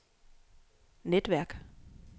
netværk